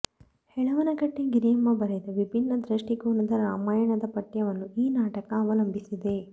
ಹೆಳವನಕಟ್ಟೆ ಗಿರಿಯಮ್ಮ ಬರೆದ ವಿಭಿನ್ನ ದೃಷ್ಟಿಕೋನದ ರಾಮಾಯಣದ ಪಠ್ಯವನ್ನು ಈ ನಾಟಕ ಅವಲಂಬಿಸಿದೆ